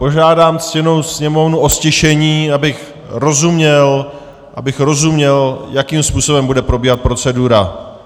Požádán ctěnou sněmovnu o ztišení, abych rozuměl, jakým způsobem bude probíhat procedura.